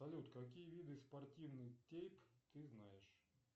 салют какие виды спортивных тейп ты знаешь